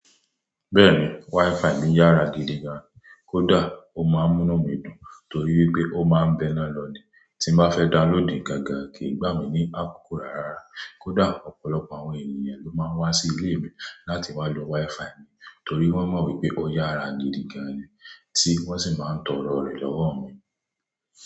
Bẹ́ẹ̀ni, WiFi mi yára gidi gan, kódà ó máa ń múná mi dùn torí pé ó má ń bẹ́ná lọ ní. Tí n bá fẹ́ downloadì gágà kìí gbà mí ní àkókò rárá. Kódà ọ̀pọ̀lọpọ̀ àwọn ènìyàn ló máa ń wá sí ilé mi láti wá lo WiFi mi torí wọ́n mọ̀ wípé ó yára gidi gan ni tí wón sì máa ń tọrọ rẹ̀ lọ́wọ́ mi.